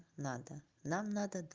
надо нам надо